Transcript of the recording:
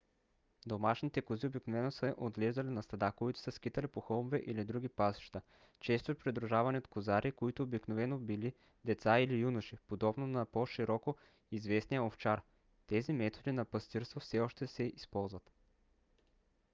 домашните кози обикновено се отглеждали на стада които се скитали по хълмове или други пасища често придружавани от козари които обикновено били деца или юноши подобно на по-широко известния овчар. тези методи на пастирство все още се използват